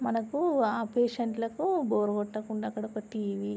మనకు ఆ పేషెంట్ లకు బోర్ కొట్టకుండా అక్కడ ఒక టీవీ --